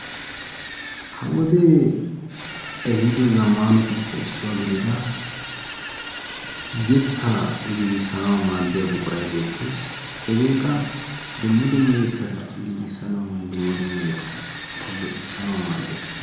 Ha wode ehido zammanatuppe issuwa gidida yetta giigissanaw maaddiya buquray beettees. Hege qa dumma dumma yetteta giigissanawunne dumma dumma yetta shiccissanaw maaddees.